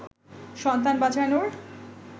সন্তান বাঁচানোর